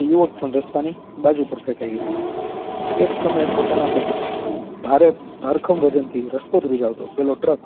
એ યુવક પણ રસ્તા ની બાજુ પર ફેકાઈ ગયો એક સમય પોતાના ભારે ભરકમ વજન થી રસ્તો ધ્રુજારતો પેલો ટ્રક